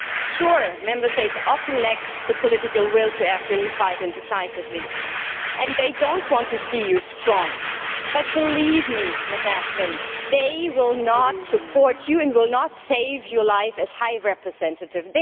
Sure, Member States often lack the political will to act in a unified and decisive way, and they do not want to see you strong, but believe me, Baroness Ashton, they will not support you and will not save your life as High Representative.